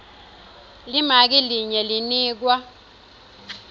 limaki linye linikwa